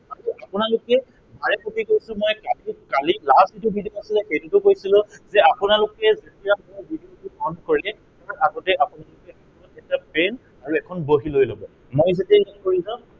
মাত্ৰ আপোনালোকে বাৰেপতি কৈছো মই class ত last যিটো video আছিলে, সেইটোতো কৈছিলো যে আপোনালোকে যেতিয়া মোৰ video টো sign কৰে তাৰ আগতেই আপোনালোকে কি কৰিব, এটা pen আৰু এখন বহী লৈ লব। মই যেতিয়া ইয়াত কৰি যাম